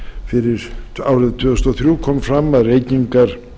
fyrir árið tvö þúsund og þrjú kom fram að reykingar